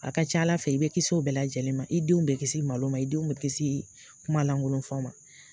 A ka ca Ala fɛ, i bɛ kis'o bɛɛ lajɛlen ma, i denw bɛ kisi malo ma, i denw bɛ kisi kumalankolon fɔ ma.